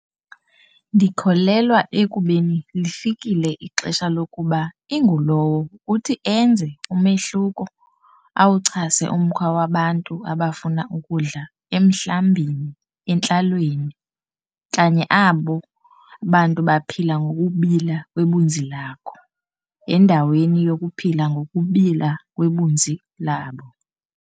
Ndikholelwa ekubeni lifikile ixesha lokuba ingulowo kuthi enze umehluko - awuchase umkhwa wabantu abafuna ukudla emhlambini entlalweni - kanye abo bantu baphila ngokubila kwebunzi lakho, endaweni yokuphila ngokubila kwebunzi labo.